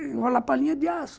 Enrolar palinha de aço.